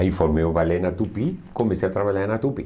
Aí formei o balé na Tupi, comecei a trabalhar na Tupi.